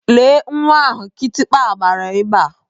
Lee nwa ahụ kịtịkpa gbara ebea.